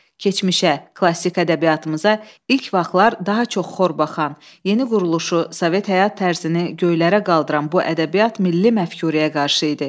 Keçmişə, klassik ədəbiyyatımıza ilk baxışlar daha çox xor baxan, yeni quruluşu, Sovet həyat tərzini göylərə qaldıran bu ədəbiyyat milli məfkurəyə qarşı idi.